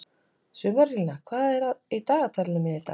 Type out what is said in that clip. Sumarlína, hvað er í dagatalinu mínu í dag?